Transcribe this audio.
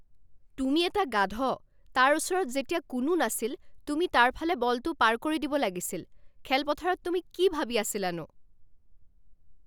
তুমি এটা গাধ। তাৰ ওচৰত যেতিয়া কোনো নাছিল তুমি তাৰ ফালে বলটো পাৰ কৰি দিব লাগিছিল। খেলপথাৰত তুমি কি ভাবি আছিলানো?